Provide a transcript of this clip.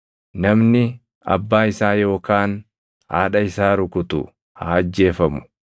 “Namni abbaa isaa yookaan haadha isaa rukutu haa ajjeefamu.